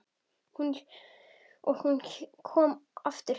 Og hún komin aftur heim.